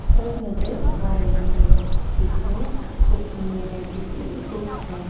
सब नजर आ रही है जिसमे कुकिंग वैरायटी की बुक्स है।